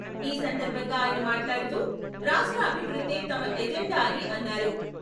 ఈ సందర్భంగా ఆయన మాట్లాడుతూ రాష్ట్ర అభివృద్ధే తమ ఎజెండా అని అన్నారు.